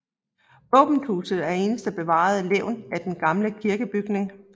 Våbenhuset er eneste bevarede levn af den gamle kirkebygning